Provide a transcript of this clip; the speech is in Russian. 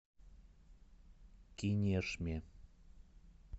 кинешме